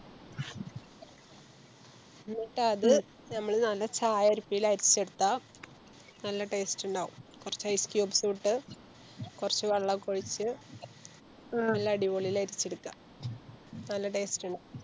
എന്നിട്ടത് ഞമ്മള് നല്ല ചായ അരിപ്പല് അരിച്ചെടുത്ത നല്ല Taste ഇണ്ടാവും കൊർച്ച് Ice cubes ഉ ഇട്ട് കൊർച്ച് വെള്ളൊക്കെ ഒഴിച്ച് നല്ല അടിപൊളില് അരിച്ചെടുക്ക നല്ല Taste ഇണ്ടാവും